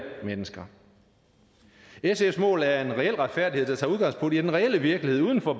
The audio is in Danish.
mennesker sfs mål er en reel retfærdighed der tager udgangspunkt i den reelle virkelighed uden for